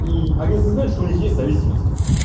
и они осознают что у них есть зависимость